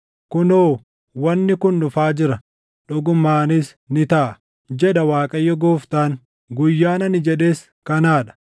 Kunoo, wanni kun dhufaa jira! Dhugumaanis ni taʼa, jedha Waaqayyo Gooftaan. Guyyaan ani jedhes kanaa dha.